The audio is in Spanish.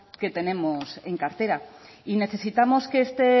que tenemos en cartera y necesitamos que este